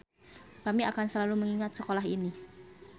Kami akan selalu mengingat sekolah ini.